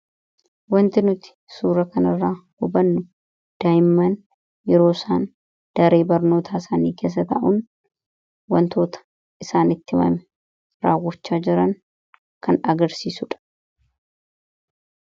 wanti nuti suura kanirra hubannu daayimman yeroo isaan daree barnoota isaanii keessa ta'uun wantoota isaanitti mame raawwochaa jiran kan agarsiisudha